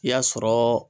I y'a sɔrɔ